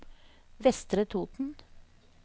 Vestre Toten